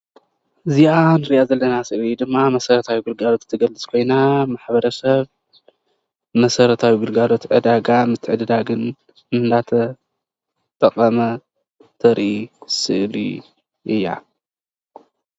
እዚአ ንሪአ ዘለና ስእሊ ድማ መሰረታዊ ግልጋሎት ትገልፅ ኮይና ማሕበረሰብ መሰረታዊ ግልጋሎት ዕደጋ ምትዕድዳግን እናተጠቐመ ተርእይ ስእሊ እዩ እያ።